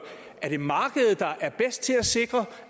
er det markedet der er bedst til at sikre